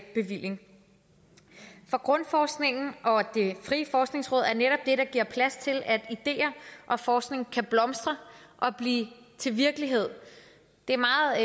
bevilling for grundforskningsfonden og det frie forskningsråd er der giver plads til at ideer og forskning kan blomstre og blive til virkelighed det